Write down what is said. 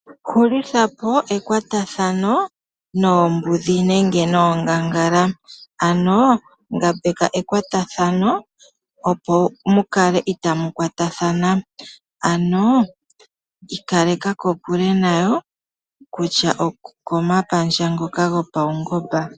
Hulitha po ekwatathano noombudhi nenge noongangala. Ano ngambeka ekwatathano opo mu kale itaa mu kwatathana. Ano ika leka kokule nayo, kutya okomapandja ngoka gopaungomba.